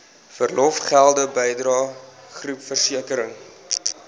verlofgelde bydrae groepversekering